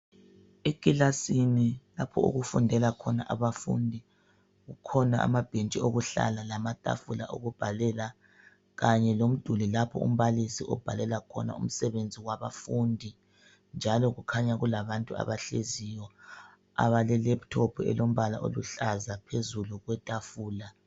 Ekilasini lapho okufundela khona abafundi kukhona amabhetshi okuhlala lamatafula okubhalela kanye lomduli lapha ombalisi obhalela khona umsebenzi wabafundi njalo kukhanya kulabantu abahleziyo ebale laptop elombala oluhlaza phezulu kwetafula.